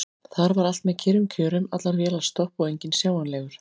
Þar var allt með kyrrum kjörum: allar vélar stopp og enginn sjáanlegur.